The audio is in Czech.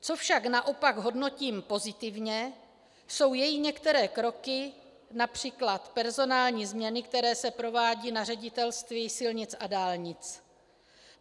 Co však naopak hodnotím pozitivně, jsou její některé kroky, například personální změny, které se provádějí na Ředitelství silnic a dálnic.